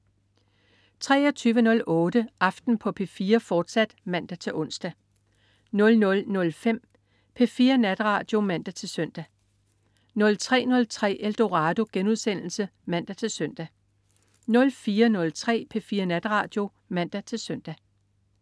23.08 Aften på P4, fortsat (man-ons) 00.05 P4 Natradio (man-søn) 03.03 Eldorado* (man-søn) 04.03 P4 Natradio (man-søn)